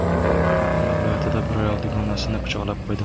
Farg‘ona viloyatida bir ayol dugonasini pichoqlab qo‘ydi.